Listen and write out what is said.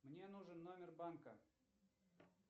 мне нужен номер банка